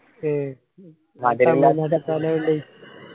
ഏ വേണ്ട്